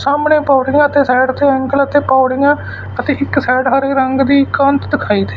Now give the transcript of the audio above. ਸਾਹਮਣੇ ਪੌੜੀਆਂ ਅਤੇ ਸਾਈਡ ਉੱਥੇ ਐਂਗਲ ਅਤੇ ਪੌੜੀਆਂ ਅਤੇ ਇੱਕ ਸਾਈਡ ਹਰੇ ਰੰਗ ਦੀ ਕੰਧ ਦਿਖਾਈ ਦੇ--